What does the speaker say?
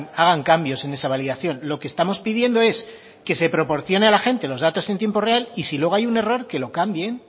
hagan cambios en esa validación lo que estamos pidiendo es que se proporcione a la gente los datos en tiempo real y si luego hay un error que lo cambien